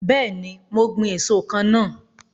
Bẹẹni, mo ń gbin èso kan náà.